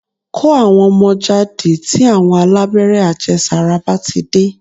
Kó àwọn ọmọ jáde tí àwọn alábẹ́rẹ́ àjẹsàra bá ti dé